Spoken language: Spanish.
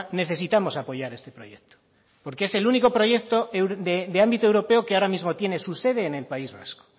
necesitamos apoyar este proyecto porque es el único proyecto de ámbito europeo que ahora mismo tiene su sede en el país vasco